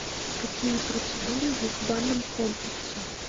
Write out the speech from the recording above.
какие процедуры есть в банном комплексе